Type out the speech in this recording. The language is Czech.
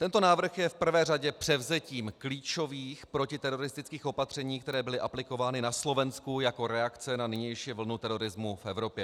Tento návrh je v prvé řadě převzetím klíčových protiteroristických opatření, která byla aplikována na Slovensku jako reakce na nynější vlnu terorismu v Evropě.